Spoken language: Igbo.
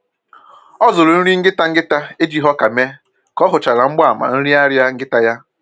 Ọ zụrụ nri nkịta nkịta ejighi ọkà mee ka ọ hụchara mgbaàmà nrịanrịa nkịta ya